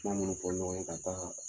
kuma minnu fɔ ɲɔgɔn ye ka d'a kan